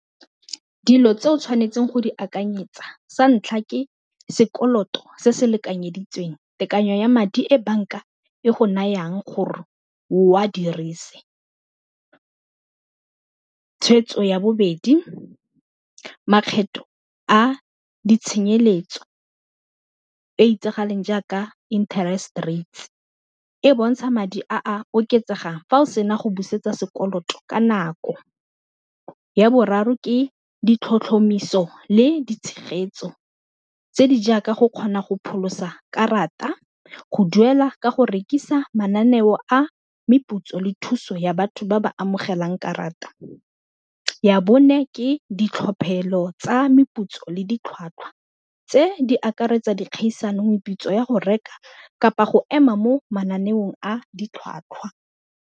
Dilo tse o tshwanetseng go di akanyetsa sa ntlha ke sekoloto se se lekanyeditsweng tekanyo ya madi e banka e go nayang gore o a dirise, tshweetso ya bobedi makgetho a di tshenyeletso e e itsagaleng jaaka interest rate e bontsha madi a a oketsegang fa o sena go busetsa sekoloto ka nako, ya boraro ke ditlhotlhomiso le di tshegetso tse di jaaka go kgona go pholosa karata go duela ka go rekisa mananeo a meputso le thuso ya batho ba ba amogelang karata, ya bone ke ditlhophelo tsa meputso le ditlhwatlhwa tse di akaretsa dikgaisano meputso ya go reka kapa go ema mo mananeong a ditlhwatlhwa.